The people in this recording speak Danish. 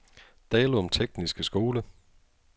Dalum Tekniske Skole